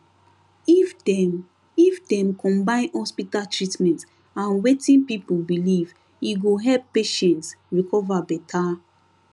if dem if dem combine hospital treatment and wetin people believe e go help patients recover better